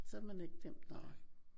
Så er man ikke glemt nej